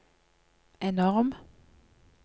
enorm